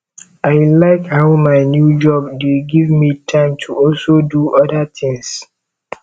i like how my new job dey give me time to also do other things